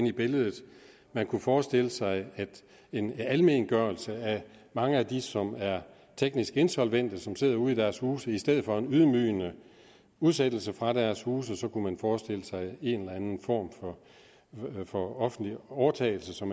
i billedet man kunne forestille sig en almengørelse af mange af dem som er teknisk insolvente og som sidder ude i deres huse i stedet for en ydmygende udsættelse fra deres huse kunne man forestille sig en eller anden form for offentlig overtagelse så